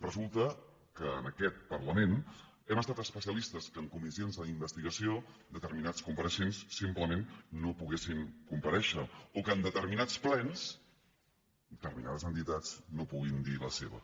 resulta que en aquest parlament hem estat especialistes que en comissions d’investigació determinats compareixents simplement no poguessin comparèixer o que en determinats plens determinades entitats no puguin dir la seva